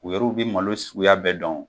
U yɛr'u bɛ malo suguya bɛɛ dɔn.